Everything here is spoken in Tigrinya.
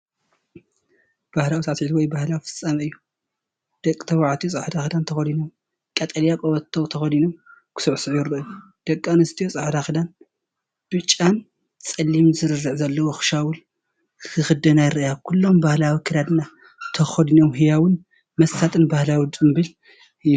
ባህላዊ ሳዕስዒት ወይ ባህላዊ ፍጻመ እዩ። ደቂ ተባዕትዮ ጻዕዳ ክዳን ተኸዲኖም ቀጠልያ ቀበቶ ተኸዲኖም ክስዕስዑ ይረኣዩ፤ ደቂ ኣንስትዮ ጻዕዳ ክዳን፡ ብጫን ጸሊምን ስርርዕ ዘለዎ ሻውል ክኽደና ይረኣያ። ኩሎም ባህላዊ ኣከዳድና ተኸዲኖም፣ ህያውን መሳጥን ባህላዊ ጽምብል እዩ፡፡